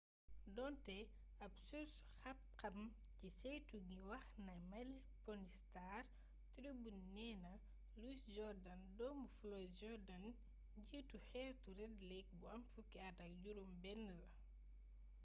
doonte ab surs xam xam ci ceytu gi wax na minneapolis star tribune nee na louis jordan doomu floyd jourdain njiitu xeetu red lake bu am fukki at ak juróom benn la